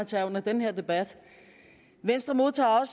tage under den her debat venstre modtager